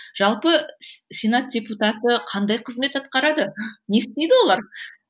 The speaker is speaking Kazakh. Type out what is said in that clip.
жалпы сенат депутаты қандай қызмет атқарады не істейді олар